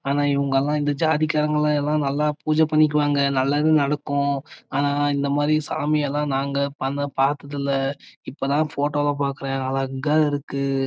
ஆனா இவங்க எல்லா ஜாதி காரங்க எல்லா பூஜ பண்ணிக்குவாக நல்லது நடக்கும் ஆனா இந்த மாறி சாமி எல்ல நாங்க பத்தாது இல்ல இப்போதான் போட்டோல பாக்கறேன் அழகா இருக்கு.